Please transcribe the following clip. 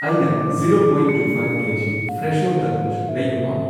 ꯑꯩꯅ zero point two five KG Fresho ꯇꯔꯕꯨꯖ ꯂꯩꯕ ꯄꯥꯝꯃꯤ꯫